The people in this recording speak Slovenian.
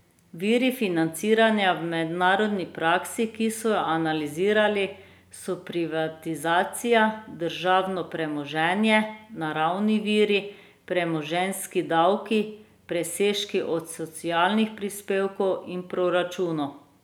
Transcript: Viri financiranja v mednarodni praksi, ki so jo analizirali, so privatizacija, državno premoženje, naravni viri, premoženjski davki, presežki od socialnih prispevkov in proračun.